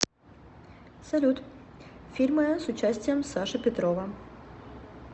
салют фильмы с участием саши петрова